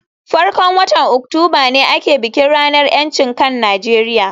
farkon watan Oktoba ne ake bikin ranar ‘yancin kan Najeriya